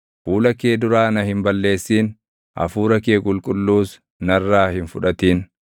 Fuula kee duraa na hin balleessin; Hafuura kee Qulqulluus narraa hin fudhatin.